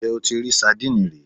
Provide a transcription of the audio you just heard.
Ǹjẹ́ o ti rí sandínì rí